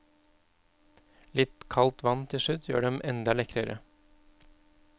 Litt kaldt vann til slutt gjør dem enda lekrere.